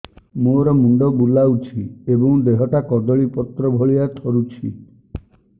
ମୋର ମୁଣ୍ଡ ବୁଲାଉଛି ଏବଂ ଦେହଟା କଦଳୀପତ୍ର ଭଳିଆ ଥରୁଛି